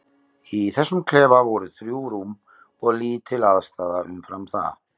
Í þessum klefa voru þrjú rúm og lítil aðstaða umfram það.